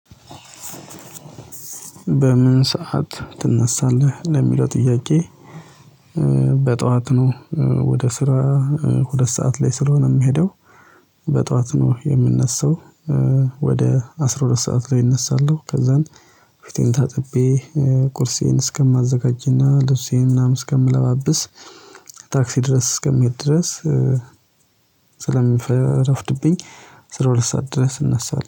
በምን ሰዓት ትነሳለህ ለሚለው ጥያቄ? በጧት ነው ወደ ስራ ሁለት ሰዓት ላይ ስለሆነ የምሄደው በጧት ነው የምነሳው። ወደ አስራ ሁለት ሰዓት ላይ እነሳለሁ። ከዛን ፊቴን ታጥቤ ቁርሴን እስከማዘጋጅና ልብሴን ምናምን እስከምለባብስ ታክሲ ድረስ እስከምሄድ ድረስ። ስለሚፈረፍድብኝ አስራ ሁለት ሰዓት ድረስ እነሳለህ